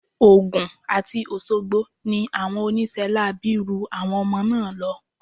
Ogun àti Òṣogbo ni àwọn oníṣẹ́ láabi ru àwọn ọmọ náà lọ.